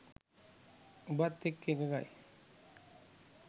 උඹත් එක්ක එකඟයි.